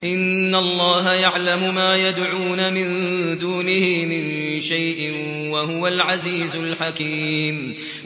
إِنَّ اللَّهَ يَعْلَمُ مَا يَدْعُونَ مِن دُونِهِ مِن شَيْءٍ ۚ وَهُوَ الْعَزِيزُ الْحَكِيمُ